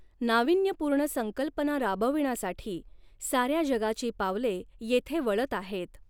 नावीन्यपूर्ण संकल्पना राबविण्यासाठी साऱ्या जगाची पावले येथे वळत आहेत.